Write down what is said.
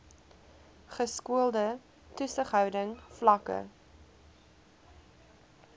geskoolde toesighouding vlakke